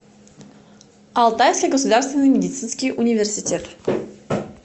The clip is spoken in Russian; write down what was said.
алтайский государственный медицинский университет